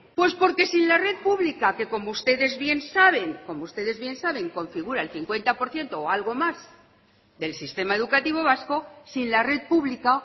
pues porque sin la red pública que como ustedes bien saben como ustedes bien saben configura el cincuenta por ciento o algo más del sistema educativo vasco sin la red pública